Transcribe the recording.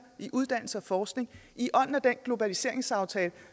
i uddannelse og forskning i ånden af den globaliseringsaftale